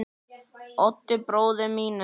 Oddi bróður mínum.